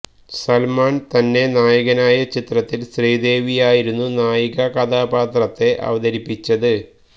സല്മാന് തന്നെ നായകനായ ചിത്രത്തില് ശ്രിദേവിയായിരുന്നു നായികാ കഥാപാത്രത്തെ അവതരിപ്പിച്ചത്